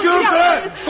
Konuşuyorum sənə!